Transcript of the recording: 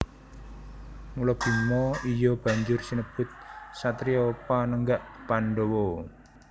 Mula Bima iya banjur sinebut satriya Panenggak Pandhawa